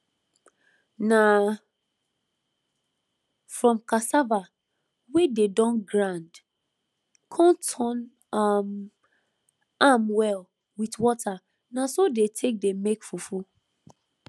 na from cassava wey dey don grind con turn um am well with water na so dey take dey make fufu